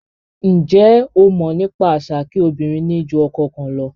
Njé o mọ̀ nípa àṣà kí obìnrin ni jù ọkọ kan lọ?